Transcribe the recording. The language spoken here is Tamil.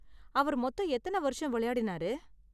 அவர் மொத்தம் எத்தன வருஷம் விளையாடினாரு?